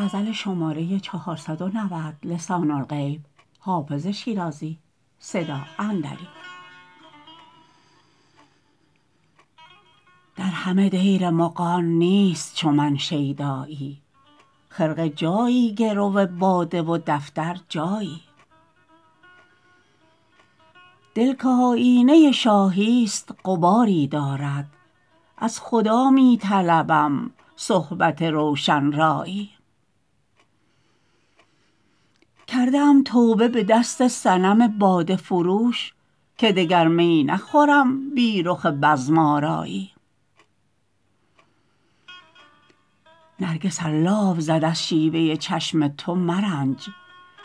در همه دیر مغان نیست چو من شیدایی خرقه جایی گرو باده و دفتر جایی دل که آیینه شاهی ست غباری دارد از خدا می طلبم صحبت روشن رایی کرده ام توبه به دست صنم باده فروش که دگر می نخورم بی رخ بزم آرایی نرگس ار لاف زد از شیوه چشم تو مرنج